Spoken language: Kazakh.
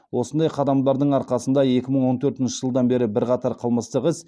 осындай қадамдардың арқасында екі мың он төртінші жылдан бері бірқатар қылмыстық іс